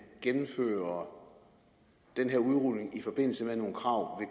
gennemfører den her udrulning i forbindelse med nogle krav